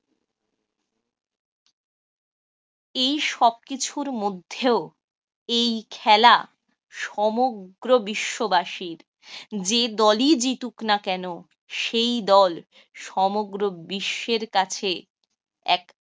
এই সবকিছুর মধ্যেও এই খেলা সমগ্র বিশ্ববাসীর। যে দলই জিতুক না কেন সেই দল সমগ্র বিশ্বের কাছে এক